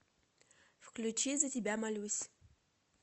включи за тебя молюсь